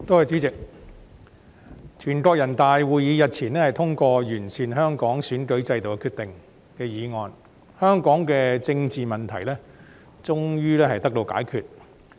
主席，全國人民代表大會會議日前通過關於完善香港選舉制度的決定，香港的政治問題終於得到解決。